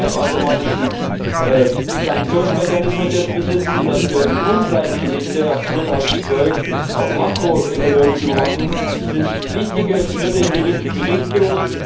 Dass wir jetzt einen halbautomatischen Sanktionsmechanismus besitzen, dass wir die Ungleichgewichte ab 2012 auch makroökonomisch überwachen, sind wichtige Schritte in die richtige Richtung.